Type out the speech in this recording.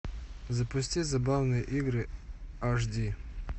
запусти забавные игры аш ди